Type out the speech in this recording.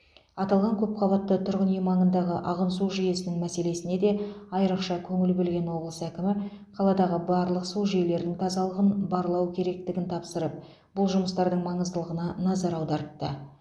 аталған көпқабатты тұрғын үй маңындағы ағын су жүйесінің мәселесіне де айрықша көңіл бөлген облыс әкімі қаладағы барлық су жүйелерінің тазалығын барлау керектігін тапсырып бұл жұмыстардың маңыздылығына назар аудартты